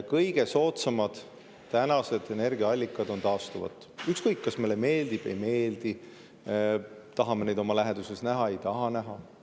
Kõige soodsamad energiaallikad on taastuvad energiaallikad, ükskõik, kas see meile meeldib või ei meeldi, kas me tahame neid oma läheduses näha või ei taha.